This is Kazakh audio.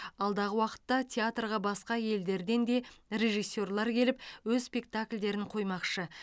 алдағы уақытта театрға басқа елдерден де режиссерлар келіп өз спектакльдерін қоймақшы